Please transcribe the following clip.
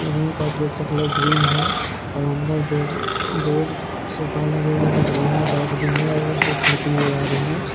Room का gate का colour green है और अंदर बेड बेड सोफा लगे हुए दिख रहे हैं और रैक भी है और दो खिड़की नजर आ रही है।